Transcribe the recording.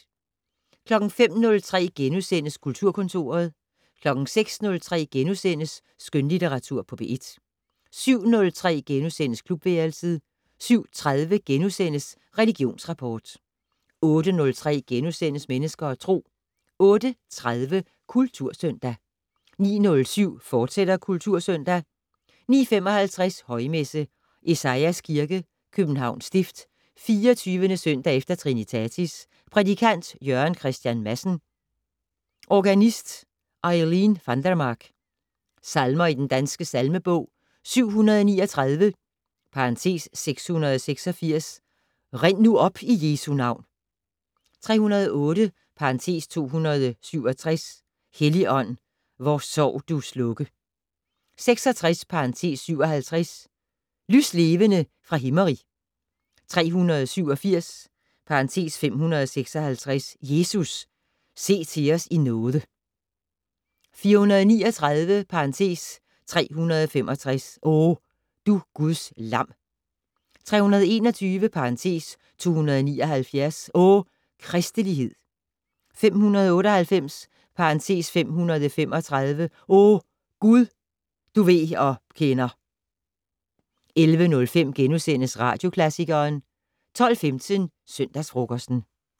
05:03: Kulturkontoret * 06:03: Skønlitteratur på P1 * 07:03: Klubværelset * 07:30: Religionsrapport * 08:03: Mennesker og Tro * 08:30: Kultursøndag 09:07: Kultursøndag, fortsat 09:55: Højmesse - Esajas Kirke, Københavns Stift. 24. søndag efter trinitatis. Prædikant: Jørgen Christian Madsen. Organist: Eileen Vandermark. Salmer i Den Danske Salmebog: 739 (686). "Rind nu op i Jesu navn" 308 (267). "Helligånd, vor sorg du slukke" 66 (57). "Lyslevende fra Himmerig" 387 ((556). "Jesus, se til os i nåde" 439 (365). "O, du Guds lam" 321 (279). "O, kristelighed" 598 (535). "O Gud, du ved og kender" 11:05: Radioklassikeren * 12:15: Søndagsfrokosten